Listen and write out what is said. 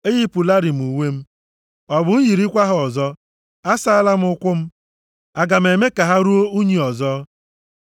Eyipụlarị m uwe m. Ọ bụ m yirikwa ha ọzọ? Asaala m ụkwụ m, aga m eme ka ha ruo unyi ọzọ?